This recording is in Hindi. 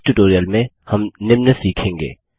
इस ट्यूटोरियल में हम निम्न सीखेंगे